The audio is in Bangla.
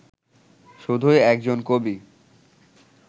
শুধুই একজন কবি